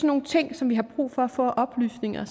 nogle ting som vi har brug for at få oplysninger